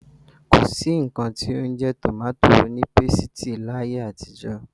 Ko sí nnkan tí ó ń jẹ́ tòmátì onípésìtì láyé àtijó.